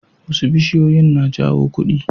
Wasu bishiyoyin na jawo kudi.